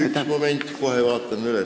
Üks moment, kohe vaatame üle.